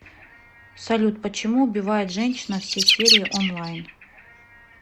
салют почему убивает женщина все серии онлайн